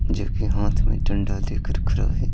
जो कि हाथ में डंडा देकर खरा है।